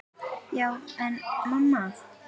Já, en mamma.!